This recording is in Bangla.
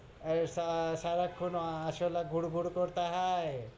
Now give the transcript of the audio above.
এইসা, সারাক্ষণ ও আরশোলা ঘুর ঘুর করতা হায়,